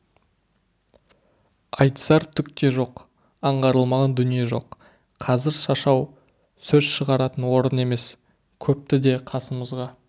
айтысар түк те жоқ аңғарылмаған дүние жоқ қазір шашау сөз шығаратын орын емес көпті де қасымызға